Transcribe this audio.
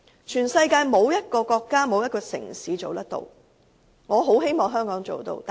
全世界沒有一個國家或城市可以做得到。